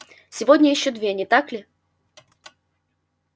сегодня ещё две не так ли